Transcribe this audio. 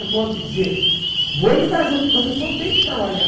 É modo de dizer, vou lhe dar ajuda, mas o senhor tem que trabalhar.